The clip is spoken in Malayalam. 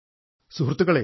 സുഹൃത്തുക്കളേ